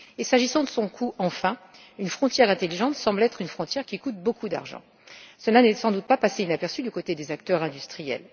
Enfin, s'agissant de son coût, une frontière intelligente semble être une frontière qui coûte beaucoup d'argent, ce qui n'est sans doute pas passé inaperçu du côté des acteurs industriels.